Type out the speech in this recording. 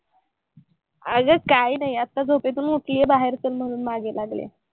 अगं काही नाही. आता झोपेतून उठली आहे. बाहेर चल म्हणून मागे लागली आहे.